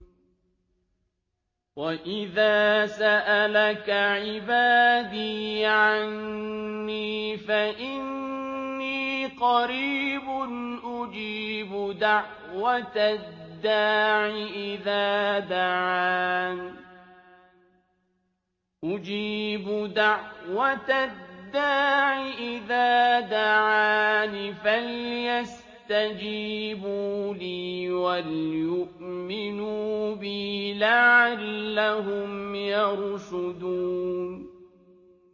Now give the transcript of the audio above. وَإِذَا سَأَلَكَ عِبَادِي عَنِّي فَإِنِّي قَرِيبٌ ۖ أُجِيبُ دَعْوَةَ الدَّاعِ إِذَا دَعَانِ ۖ فَلْيَسْتَجِيبُوا لِي وَلْيُؤْمِنُوا بِي لَعَلَّهُمْ يَرْشُدُونَ